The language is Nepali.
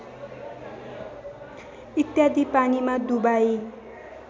इत्यादि पानीमा डुबाई